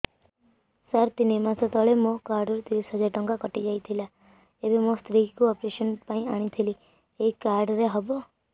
ସାର ତିନି ମାସ ତଳେ ମୋ କାର୍ଡ ରୁ ତିରିଶ ହଜାର ଟଙ୍କା କଟିଯାଇଥିଲା ଏବେ ମୋ ସ୍ତ୍ରୀ କୁ ଅପେରସନ ପାଇଁ ଆଣିଥିଲି ଏଇ କାର୍ଡ ରେ ହବ